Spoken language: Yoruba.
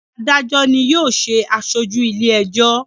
Adajọ ni yóò ṣe aṣoju ile-ẹjọ.